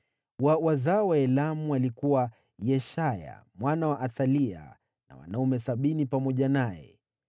wa wazao wa Elamu, alikuwa Yeshaya mwana wa Athalia, na wanaume 70 pamoja naye;